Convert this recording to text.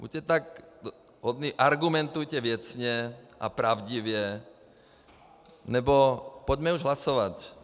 Buďte tak hodní, argumentujte věcně a pravdivě, nebo pojďme už hlasovat.